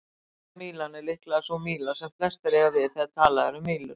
Enska mílan er líklega sú míla sem flestir eiga við þegar talað er um mílur.